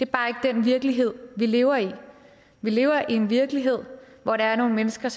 bare ikke den virkelighed vi lever i vi lever i en virkelighed hvor der er nogle mennesker